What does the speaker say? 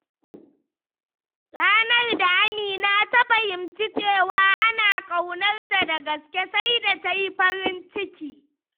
Ranar da Amina ta fahimci cewa ana ƙaunarta da gaske, sai da ta yi farin ciki.